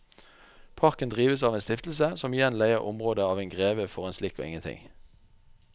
Parken drives av en stiftelse som igjen leier området av en greve for en slikk og ingenting.